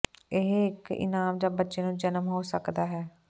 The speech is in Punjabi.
ਇਹ ਇੱਕ ਇਨਾਮ ਜ ਬੱਚੇ ਨੂੰ ਜਨਮ ਹੋ ਸਕਦਾ ਹੈ